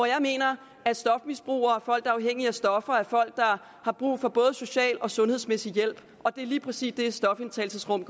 jeg mener at stofmisbrugere og folk der er afhængige af stoffer er folk der har brug for både social og sundhedsmæssig hjælp og det er lige præcis det stofindtagelsesrum